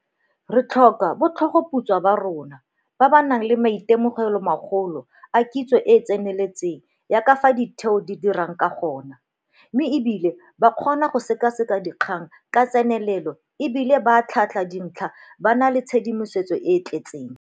Re tlhoka botlhogoputswa ba rona, ba ba nang le maitemogelo a magolo le kitso e e tseneletseng ya ka fao ditheo di dirang ka gone, mme e bile ba kgona go sekaseka dikgang ka tsenelelo e bile ba atlhaatlha dintlha ba na le tshedimosetso e e tletseng.